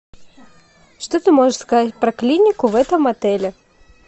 что ты можешь сказать про клинику в этом отеле